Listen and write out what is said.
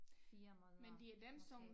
4 måneder måske